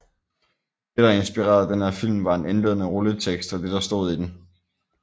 Det der inspirerede den her film var en indledende rulletekst og det der stod i den